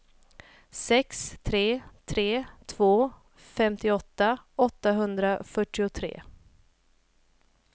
sex tre tre två femtioåtta åttahundrafyrtiotre